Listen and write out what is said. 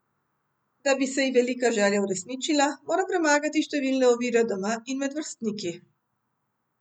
Da bi se ji velika želja uresničila, mora premagati številne ovire doma in med vrstniki.